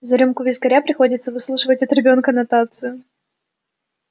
за рюмку вискаря приходится выслушивать от ребёнка нотацию